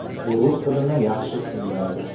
U rus tilini yaxshi tushunmaydi.